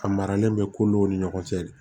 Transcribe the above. A maralen bɛ ko dɔw ni ɲɔgɔn cɛ